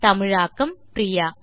தமிழாக்கம் பிரியா